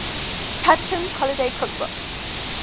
patinkin's holiday cookbook